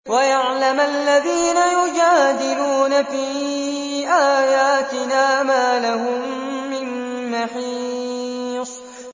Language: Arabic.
وَيَعْلَمَ الَّذِينَ يُجَادِلُونَ فِي آيَاتِنَا مَا لَهُم مِّن مَّحِيصٍ